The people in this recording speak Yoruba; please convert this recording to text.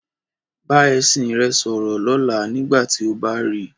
Bá ẹṣin rẹ sọ̀rọ̀ lọ́la nígbà tí ó bá ri.